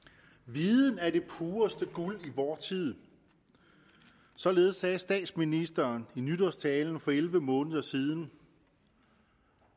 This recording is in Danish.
viden er det pureste guld i vor tid således sagde statsministeren i nytårstalen for elleve måneder siden